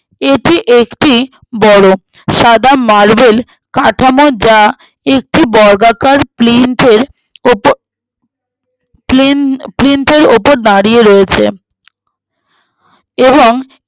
এটি একটি বড়ো সাদা মালবেল কাঠামো যা একটি বর্গাকার plain fence উপর plain fence এর উপর দাঁড়িয়ে রয়েছে এবং